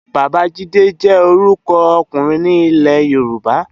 Babajide jè órùkò òkúrin ni Ilè-yoruba